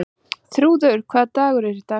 Þrúður, hvaða dagur er í dag?